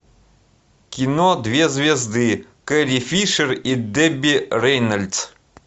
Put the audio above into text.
кино две звезды кэрри фишер и дебби рейнольдс